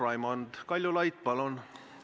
Raimond Kaljulaid, palun!